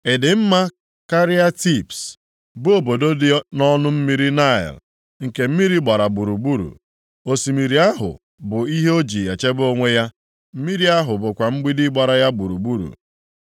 Ị dị mma karịa Tibs, bụ obodo dị nʼọnụ mmiri Naịl, nke mmiri gbara gburugburu? Osimiri ahụ bụ ihe o ji echebe onwe ya, mmiri ahụ bụkwa mgbidi gbara ya gburugburu.